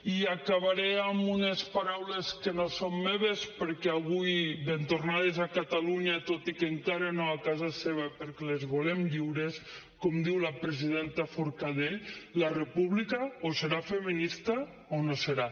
i acabaré amb unes paraules que no són meves perquè avui ben tornades a catalunya tot i que encara no a casa seva perquè les volem lliures com diu la presidenta forcadell la república o serà feminista o no serà